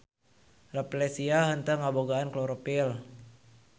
Rafflesia henteu ngabogaan klorofil.